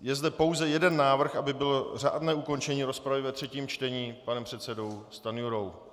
Je zde pouze jeden návrh, aby bylo řádné ukončení rozpravy ve třetím čtení, panem předsedou Stanjurou.